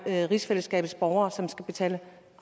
lade rigsfællesskabets borgere skulle betale